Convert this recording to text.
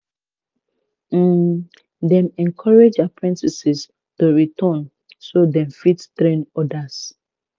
um dem encourage apprentices to return so dem fit train others